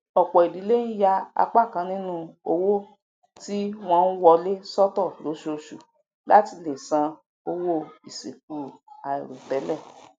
ọpọ ìdílé ń yà apá kan nínú owó tí wọn ń wọlé sọtọ lóṣooṣù láti lè san owó ìsìnkú àìròtẹlẹ